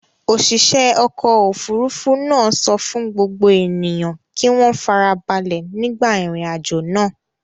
Òṣìṣẹ́ ọkọ̀-òfurufú náà sọ fún gbogbo ènìyàn kí wọ́n ìfarabalẹ̀ nígbà ìrìnàjò náà.